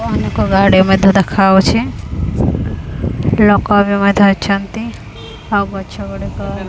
ଲୋକମାନଙ୍କ ଗାଡି ମଧ୍ୟ ଦେଖାଯାଉଛି ଲୋକ ବି ମଧ୍ୟ ଅଛନ୍ତି ଆଉ ଗଛ ଗୁଡ଼ିକ --